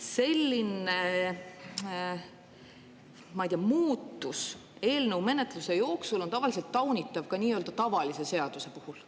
Selline, ma ei tea, muutus eelnõu menetluse jooksul on taunitav ka nii-öelda tavalise seaduse puhul.